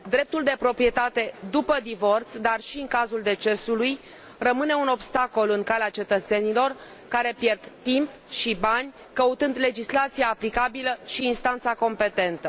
Dreptul de proprietate după divorț, dar și în cazul decesului, rămâne un obstacol în calea cetățenilor, care pierd timp și bani căutând legislația aplicabilă și instanța competentă.